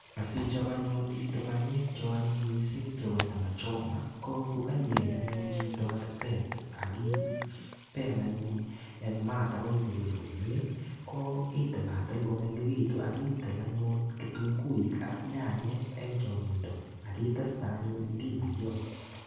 Asichop anyun chito panyek cheanyiny mising chepo nyama choma, ko kokaieny anyun chito artet akipel anyun eng mat akoi korur komie. Ko itilatil komengekitu akitil anyun kitunguik ak nyanyek eng chonyindo ak iteste anyun ndimuyot.